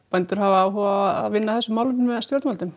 bændur hafa áhuga á að vinna að þessu með stjórnvöldum